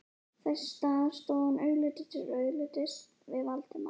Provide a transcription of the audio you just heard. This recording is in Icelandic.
Þess í stað stóð hann augliti til auglitis við Valdimar